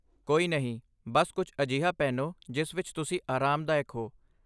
ਕੋਈ ਨਹੀਂ, ਬਸ ਕੁਝ ਅਜਿਹਾ ਪਹਿਨੋ ਜਿਸ ਵਿੱਚ ਤੁਸੀਂ ਆਰਾਮਦਾਇਕ ਹੋ!